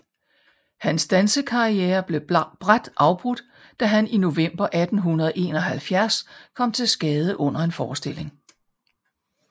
Hans danserkarriere blev brat afbrudt da han i november 1871 kom til skade under en forestilling